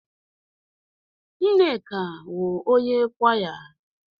Nneka wụ onye kwaya.